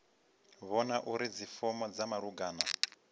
vhona uri dzifomo dza malugana